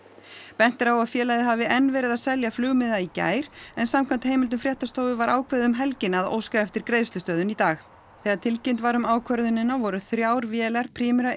bent er á að félagið hafi enn verið að selja flugmiða í gær en samkvæmt heimildum fréttastofu var ákveðið um helgina að óska eftir greiðslustöðvun í dag þegar tilkynnt var um ákvörðunina voru þrjár vélar Primera